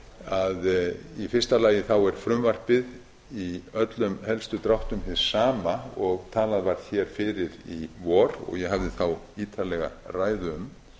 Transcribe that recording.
að í fyrsta lagi er frumvarpið í öllum helstu dráttum hið sama og talað var hér fyrir í vor og ég hafði þá ítarlega ræðu um